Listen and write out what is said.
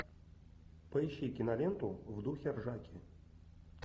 поищи киноленту в духе ржаки